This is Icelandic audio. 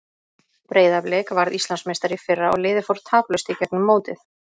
Breiðablik varð Íslandsmeistari í fyrra og liðið fór taplaust í gegnum mótið.